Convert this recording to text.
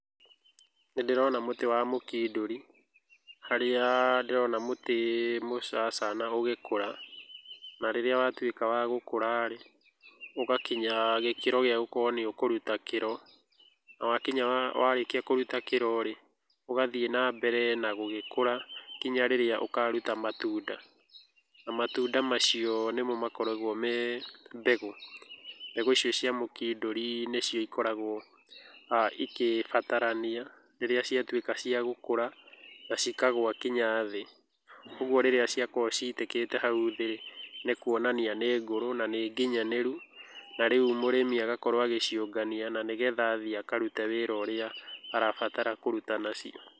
Nĩ ndĩrona mũtĩ wa mũkindũri harĩa ndĩrona mũtĩ mũcacana ũgĩkũra na rĩrĩa watuĩka wa gũkũra rĩ, ũgakinya gĩkĩro gĩa gũkorũo nĩ ũkũruta kĩro, na warĩkia kũruta kĩro rĩ, ũgathiĩ na mbere na gũgĩkũra kinya rĩrĩa ũkaruta matunda. Na matunda macio nĩmo makoragũo me mbegũ. Mbegũ icio cia mũkindũri nĩcio ikoragũo igĩbatarania rĩrĩa ciatuĩka cia gũkũra na cikagũa kinya thĩ. Ũguo rĩrĩa ciakorũo citĩkĩte hau thĩ rĩ, nĩ kuonania nĩ ngũrũ na nĩ nginyanĩru. Na rĩu mũrĩmi agakorũo agĩciũngania na nĩgetha athiĩ akarute wĩra ũrĩa arabatara kũruta nacio.